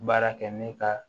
Baara kɛ ne ka